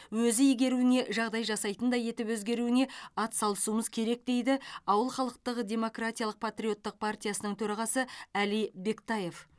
өзі игеруіне жағдай жасайтындай етіп өзгеруіне атсалысуымыз керек дейді ауыл халықтық демократиялық патриоттық партиясының төрағасы әли бектаев